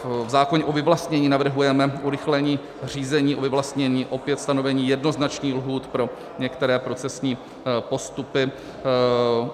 V zákoně o vyvlastnění navrhujeme urychlení řízení o vyvlastnění, opět stanovení jednoznačných lhůt pro některé procesní postupy.